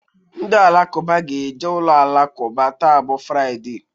Ndị Alakụba ge-eje ụlọ alakụba taa bụ Fraịdee